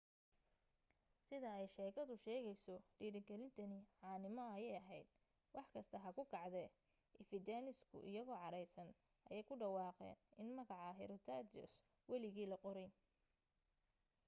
sida ay sheekadu sheegayso dhiirigelintani caanimo ayay ahayd wax kasta ha ku kacdee ephesians-ku iyagoo caraysan ayay ku dhawaaqeen in magaca herostratus weligii la qorayn